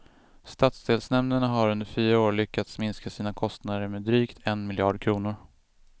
Stadsdelsnämnderna har under fyra år lyckats minska sina kostnader med drygt en miljard kronor.